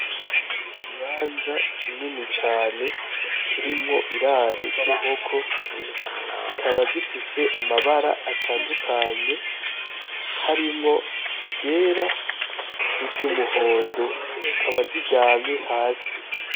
Ikibanza kinini cane kirimwo iraro ry'inkoko, zikaba zifise amabara atandukanye harimwo iryera, niry'umuhondo zikaba ziryamye hasi.